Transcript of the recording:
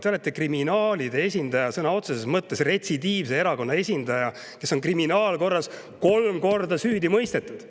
Te olete kriminaalide esindaja, sõna otseses mõttes esindate retsidiivset erakonda, mis on kriminaalkorras kolm korda süüdi mõistetud.